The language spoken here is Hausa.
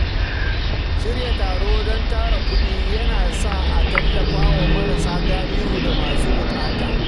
Shirya taro don tara kuɗi yana sa a tallafa wa marasa galihu da masu bukata.